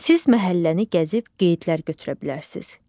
Siz məhəlləni gəzib qeydlər götürə bilərsiniz.